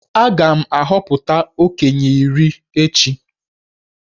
Aga m ahọpụta okenye iri echi.